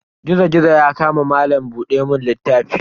Gizo-gizo ya kama malam buɗe mun littafi.